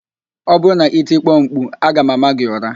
Ọ bụrụ na i tikpo m mkpu, aga m ámá gị ụra